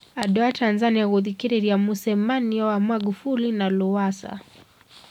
Andu a Tanzania kuthikĩrĩria mũcemanio wa Maghufuli na Lowassa